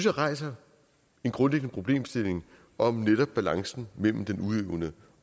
rejser en grundlæggende problemstilling om netop balancen mellem den udøvende